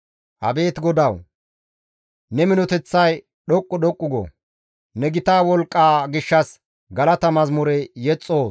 Abeet GODAWU! Ne minoteththay dhoqqu dhoqqu go; ne gita wolqqaa gishshas galata mazamure yexxoos.